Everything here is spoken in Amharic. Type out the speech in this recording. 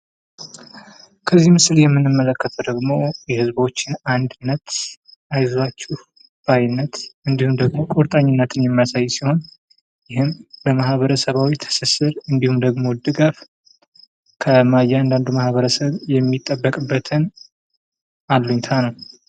ከዚህ ምስል የምንመለከተው ደግሞ የህዝቦችን አንድነት አይዟችሁ ባይነት እንድሁም ደግሞ ቁርጠኝነት የሚያሳይ ሲሆን ይህም በማህበራዊ ትስስር እንድሁም ደግሞ ድጋፍ ከእያንዳንዱ ማህበረሰብ የሚጠበቅበትን አለኝታ ነው።